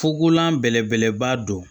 Fukolan bɛlebeleba don